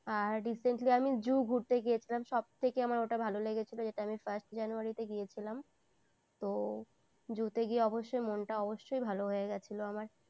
আর recently আমি zoo ঘুরতে গিয়েছিলাম সব থেকে আমার ওটা ভালো লেগেছিল যেটা আমি first january তে গিয়েছিলাম তো zoo তে গিয়ে অবশ্যই মনটা অবশ্যই মনটা ভালো হয়ে গিয়েছিল আমার।